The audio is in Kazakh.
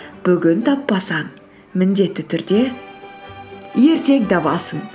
бүгін таппасаң міндетті түрде ертең табасың